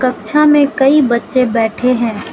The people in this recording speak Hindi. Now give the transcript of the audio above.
कक्षा में कई बच्चे बैठे हैं।